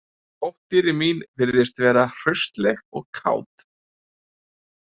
Dóttir mín virðist vera hraustleg og kát